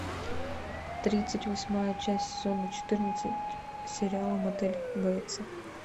тридцать восьмая часть сезона четырнадцать сериала мотель бейтсов